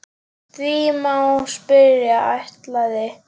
Því má spyrja: ætlaði